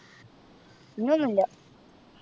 പിന്നെ ഒന്നുല്ല